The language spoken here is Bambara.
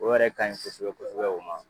O yɛrɛ ka ɲi kosɛbɛ kosɛbɛ o ma.